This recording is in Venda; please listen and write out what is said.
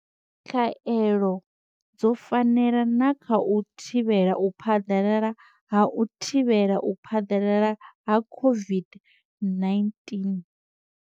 Khaelo dzo fanela na kha u thivhela u phaḓalala ha u thivhela u phaḓalala ha COVID-19.